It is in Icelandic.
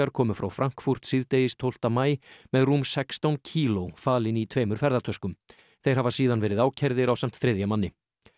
komu frá Frankfurt síðdegis tólfta maí með rúm sextán kíló falin í tveimur ferðatöskum þeir hafa síðan verið ákærðir ásamt þriðja manni